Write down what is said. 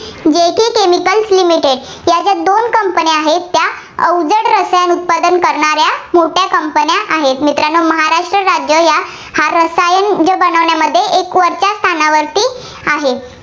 company आहेत, त्या अवजड रसायन उत्पादन करणाऱ्या मोठ्या कंपन्या आहेत. मित्रांनो महाराष्ट्र राज्य या हा रसायन बनवण्यामध्ये एक वरच्या स्थानावरती आहे.